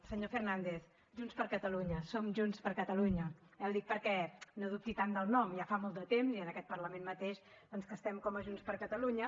senyor fernández junts per catalunya som junts per catalunya eh ho dic perquè no dubti tant del nom ja fa molt de temps i en aquest parlament mateix doncs que estem com a junts per catalunya